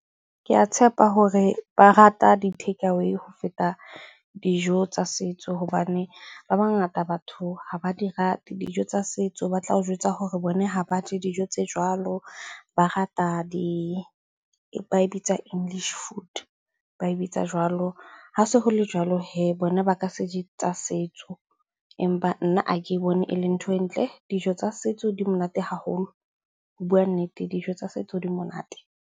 Ke a tshepa hore ba rata di-takeaway ho feta dijo tsa setso hobane ba bangata batho ha ba di rate dijo tsa setso. Ba tla o jwetsa hore bone ha ba je dijo tse jwalo, ba rata di, ba e bitsa english food. Ba e bitsa jwalo. Ha se ho le jwalo hee, bona ba ka se je tsa setso, empa nna ha ke bone ele nthwe e ntle. Dijo tsa setso di monate haholo, ho bua nnete dijo tsa setso di monate.